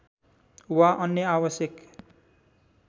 वा अन्य आवश्यक